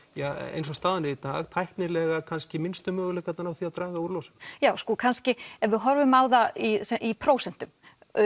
eins og staðan sé í dag tæknilega kannski minnstu möguleikarnir á því að draga úr losun já kannski ef við horfum á það í í prósentum